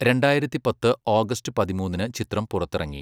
രണ്ടായിരത്തി പത്ത് ഓഗസ്റ്റ് പതിമൂന്നിന് ചിത്രം പുറത്തിറങ്ങി.